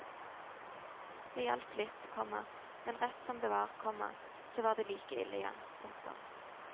Det hjalp litt, komma men rett som det var, komma så var det like ille igjen. punktum